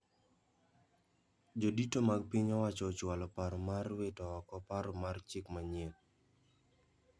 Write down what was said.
Jodito mag piny owacho ochwalo paro mar wito oko paro mar chik manyien